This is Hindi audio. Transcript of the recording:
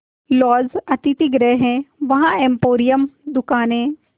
लॉज अतिथिगृह हैं वहाँ एम्पोरियम दुकानें